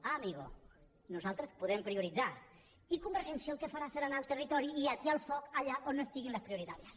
ah amigo nosaltres podem prioritzar i convergència el que farà serà anar al territori i atiar el foc allà on no estiguin les prioritàries